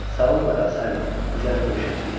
Sağlıqla qal, Sallie, biz hələ görüşəcəyik.